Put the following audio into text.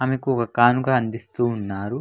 ఆయనకు ఒక కానుక అందిస్తూ ఉన్నారు --